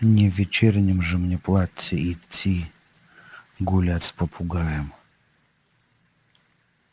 не в вечернем же мне платье идти гулять с попугаем